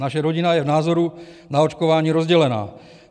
Naše rodina je v názoru na očkování rozdělena.